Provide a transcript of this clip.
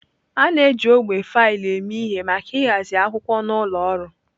A na-eji ogbe faịlụ eme ihe maka ịhazi akwụkwọ n'ụlọ ọrụ.